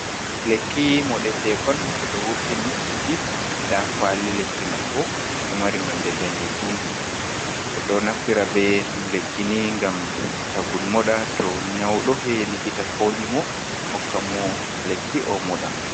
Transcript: Lekki moɗeteekon ɓe ɗo wurtini sigi .Ndaa kuwali lekki man bo, ɗo mari nonde daneejum. Ɓe ɗo naftira be lekkini ngam tagun moɗa to nyawɗo, yahi likita foondi mo, hokka mo lekki ,o moɗa.